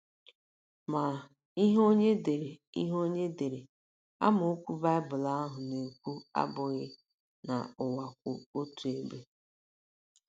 Ma, ihe onye dere ihe onye dere amaokwu Baịbụl ahụ na - ekwu abụghị um na ụwa kwụ otu ebe.